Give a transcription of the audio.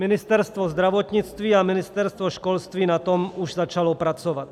Ministerstvo zdravotnictví a Ministerstvo školství na tom už začaly pracovat.